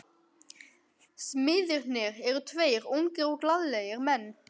Smiðirnir eru tveir ungir og glaðlegir menn.